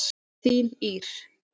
Þín Ýr.